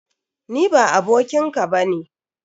Ni ba abokin ka ba ne!